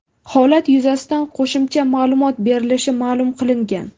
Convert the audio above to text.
Holat yuzasidan qo‘shimcha ma’lumot berilishi ma’lum qilingan.